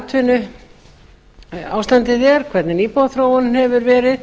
hvernig atvinnuástandið er hvernig íbúaþróun hefur verið